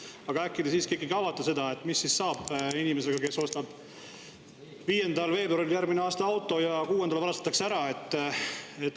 Aga äkki te siiski avate seda, mis siis juhtub inimesega, kes ostab 5. veebruaril järgmisel aastal auto ja 6‑ndal see varastatakse ära?